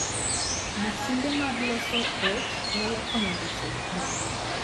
Masinde mag loso rech nyalo konyo joted rech